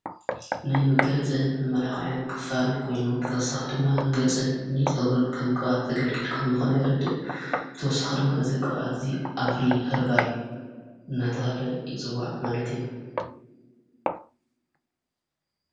ናይ መጋያፅን መመላኽያን ክፋል ኮይኑን ብተወሳኽ ድማ ንገጽን ኒ ጸጕርን ከም ቀባኣት ተገልጊልኩም ዝኾነ ይረድእ ብተወሳኽ ድማ እዝ ቕውዓት እዙይ ኣፍሪ ሀርባል ናታሃለ ይጽዋዕ ማለት እዩ::